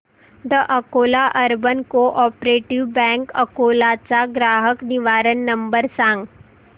the Akola urban cooperative bank Akola चा ग्राहक निवारण नंबर सांग